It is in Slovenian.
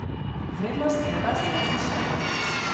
Vrednost evra se je zvišala.